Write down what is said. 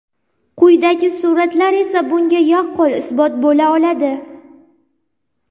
Quyidagi suratlar esa bunga yaqqol isbot bo‘la oladi.